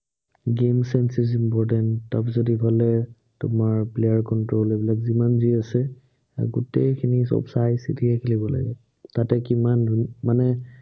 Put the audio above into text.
game sense তাৰপিছত ইফালে তোমাৰ player control এইবিলাক যিমান যি আছে, সেই গোটেইখিনি সৱ চাই চিতিহে খেলিব লাগিব। তাতে কিমান মানে